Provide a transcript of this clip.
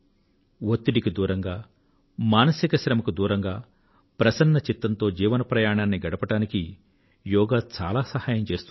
ఒత్తిడికి దూరంగా మానసిక శ్రమకు దూరంగా ప్రసన్న చిత్తంతో జీవన ప్రయాణాన్ని గడపడానికి యోగా చాలా సహాయం చేస్తుంది